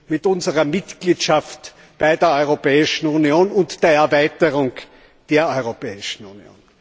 mit unserer Mitgliedschaft in der Europäischen Union und der Erweiterung der Europäischen Union.